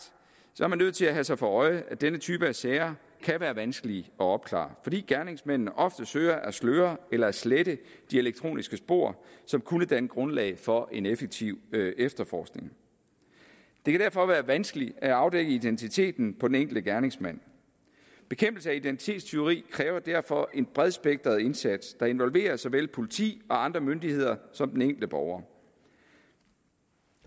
er man nødt til at have sig for øje at denne type af sager kan være vanskelige at opklare fordi gerningsmændene ofte søger at sløre eller at slette de elektroniske spor som kunne danne grundlag for en effektiv efterforskning det kan derfor være vanskeligt at afdække identiteten på den enkelte gerningsmand bekæmpelse af identitetstyveri kræver derfor en bredspektret indsats der involverer såvel politi og andre myndigheder som den enkelte borger